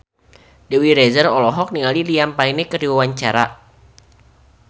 Dewi Rezer olohok ningali Liam Payne keur diwawancara